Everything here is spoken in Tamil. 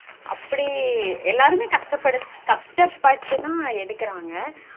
அப்டீ எல்லாருமே கஸ்ட படு கஸ்ட பட்டெல்லாம் எடுக்குறாங்க